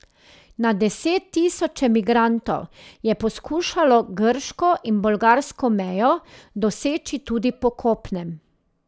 Na deset tisoče migrantov je poskušalo grško in bolgarsko mejo doseči tudi po kopnem.